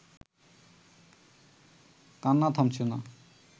কান্না থামছে না